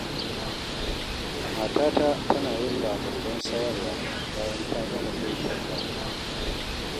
Matata tana yin Lamurjen sayarwa bayan ta gama girkin rana.